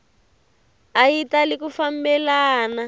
a yi tali ku fambelana